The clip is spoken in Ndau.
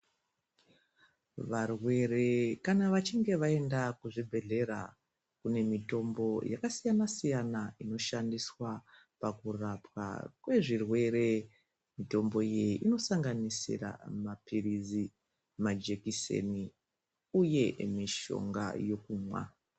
Varwere kana vachinge vaenda kuzvibhedhlera kune mitombo yakasiyana siyana inoshandiswaa pakurapwa kwezvirwere, mitombo iyi inosanganisira mapirizi majekiseni uye mishonga yekumwaa.